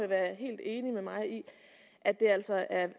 være helt enig med mig i at det altså er